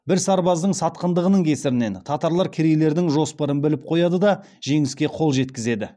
бір сарбаздың сатқындығының кесірінен татарлар керейлердің жоспарын біліп қояды да жеңіске қол жеткізеді